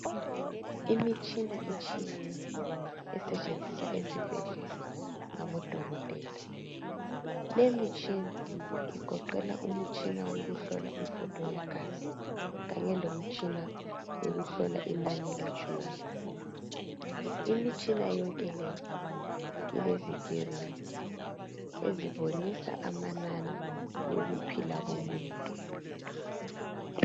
Imitshina etshiyeneyo esetshenziswa esibhedlela ngabodokotela le mitshina igoqela imitshina yokuhlola umfutho wegazi kanye lomtshina wokuhlola inani letshukela imitshina yonke leyi ilezi "screen" ezibonisa amanani wokuphila komuntu.